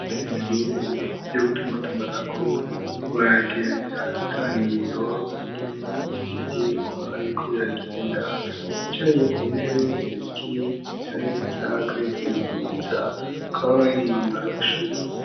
Arisi burere bigirye gutuma tumanako bubayageanyiranganiro vy'ingenezivyirwa bikobiragenda bicariye ku ntebe ziriki ziza neza kayizigisineza ko ababaye umwambara wushuri.